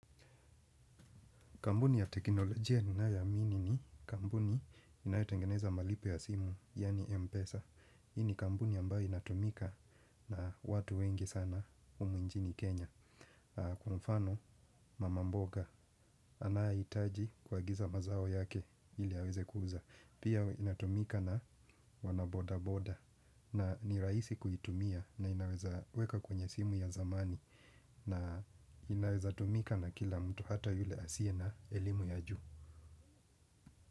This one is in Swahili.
Kampuni ya teknolojia ninayoamini ni kampuni inayotengeneza malipo ya simu, yaani M-Pesa. Hii ni kampuni ambayo inatumika na watu wengi sana humu nchini Kenya. Kwa mfano, mama mboga anayehitaji kuagiza mazao yake ili aweze kuuza. Pia inatumika na wana boda-boda. Na ni rahisi kuitumia na inaweza weka kwenye simu ya zamani. Na inaweza tumika na kila mtu hata yule asiye na elimu ya juu.